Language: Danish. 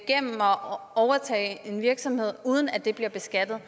overtage en virksomhed uden at det bliver beskattet